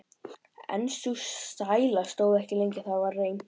En sú sæla stóð ekki lengi: Það varð reimt.